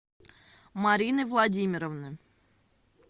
марины владимировны